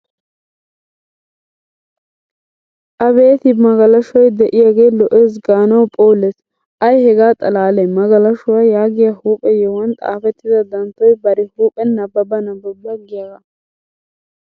Abeeti bagalashoy de'iyagee lo'ees gaanawu phoolees! Ay hegaa xalaalee magalashuwa yagiya huuphe yohuwan xaafettida danttoy bari huuphen nabbaba nabbaba giyagaa.